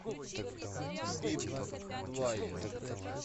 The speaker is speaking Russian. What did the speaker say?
пип двайер